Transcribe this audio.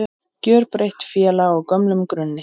Gjörbreytt félag á gömlum grunni